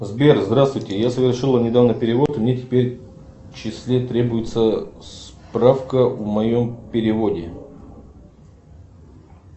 сбер здравствуйте я совершила недавно перевод и мне теперь в числе требуется справка о моем переводе